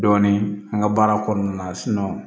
Dɔɔnin an ka baara kɔnɔna na